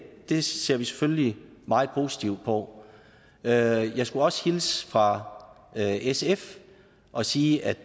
det ser vi selvfølgelig meget positivt på jeg jeg skulle også hilse fra sf og sige at